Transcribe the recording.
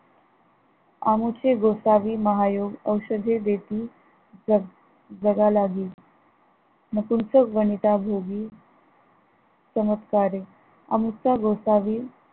आमुचे गोसावी महायोग औषधे देती जग जगाला हि मग तुमचं वनिता योगी चमत्कारी आमचा गोसावी